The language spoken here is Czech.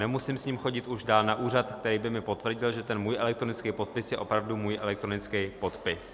Nemusím s ním chodit už dál na úřad, který by mi potvrdil, že ten můj elektronický podpis je opravdu můj elektronický podpis.